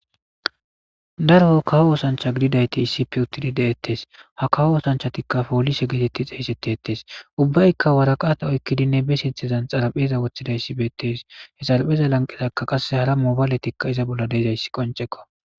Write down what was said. Daro kawo osanchati gididayti issipe uttidi de'etes ha kawo osanchatibpolise geteti xeysetetes. Ubbayka waraqata oykidi be sinthazan xarapheza wothidaysi betes.he xarapheza lanqeraka mobayiletika iza bolla dizzysi qonc'ekko